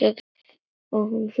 Og nú hlær hún.